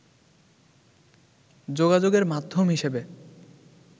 যোগাযোগের মাধ্যম হিসেবে